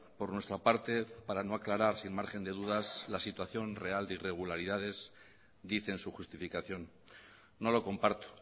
por nuestra parte para no aclarar sin margen de dudas la situación real de irregularidades dice en su justificación no lo comparto